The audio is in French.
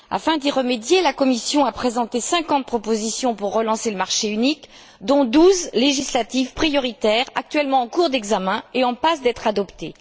Afin d'y remédier, la Commission a présenté cinquante propositions pour relancer le marché unique, dont douze législatives prioritaires, actuellement en cours d'examen et en passe d'être adoptées.